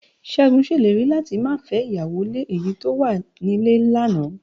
Ṣégun ṣèlérí láti máa fẹ́ ìyàwó lé èyí tó wà nílé lánàá